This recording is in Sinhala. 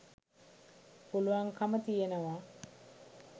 පුළුවන්කම තියෙනවා.